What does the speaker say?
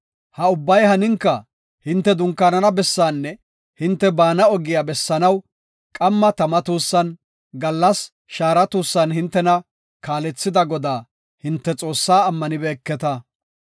Ha ubbay haninka, hinte dunkaanana bessaanne hinte baana ogiya bessanaw qamma tama tuussan, gallas shaara tuussan hintena kaalethida Godaa hinte Xoossaa ammanibeketa.